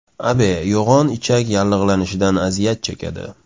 Abe yo‘g‘on ichak yallig‘lanishidan aziyat chekadi.